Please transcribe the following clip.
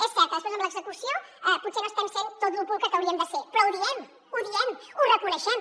és cert que després amb l’execució potser no estem sent tot lo pulcres que hauríem de ser però ho diem ho diem ho reconeixem